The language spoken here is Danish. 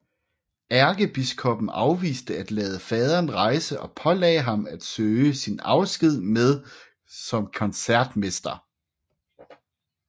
Ærkebiskoppen afviste at lade faderen rejse og pålagde ham at søge sin afsked som koncertmester